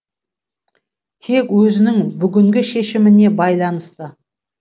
тек өзінің бүгінгі шешіміне байланысты